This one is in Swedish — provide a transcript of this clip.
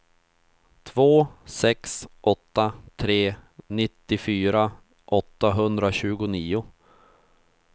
två sex åtta tre nittiofyra åttahundratjugonio